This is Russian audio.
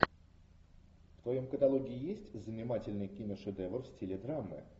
в твоем каталоге есть занимательный киношедевр в стиле драмы